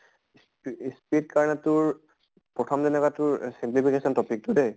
P speed ৰ কাৰণে তোৰ প্ৰথম যেনকা তোৰ simplification topic টো যে